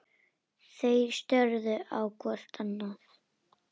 Þeir störðu hvor á annan.